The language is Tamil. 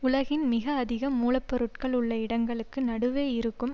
உலகின் மிக அதிக மூல பொருட்கள் உள்ள இடங்களுக்கு நடுவே இருக்கும்